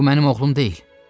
Bu mənim oğlum deyil.